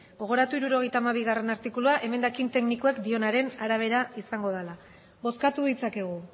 gogoratu hirurogeita hamabigarrena artikulua emendakin teknikoak dioenaren arabera izango dela bozkatu ditzakegu